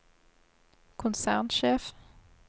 konsernsjef